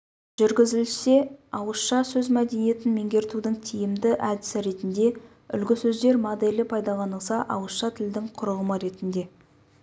жүргізілсе ауызша сөз мәдениетін меңгертудің тиімді әдісі ретінде үлгісөздер моделі пайдаланылса ауызша тілдің құрылымы ретінде